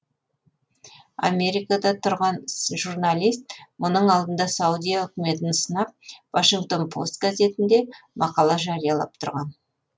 америкада тұрған журналист мұның алдында саудия үкіметін сынап вашингтон пост газетінде мақала жариялап тұрған